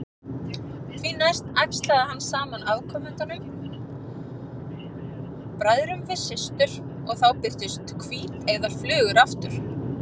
Því næst æxlaði hann saman afkomendunum, bræðrum við systur, og þá birtust hvíteygðar flugur aftur.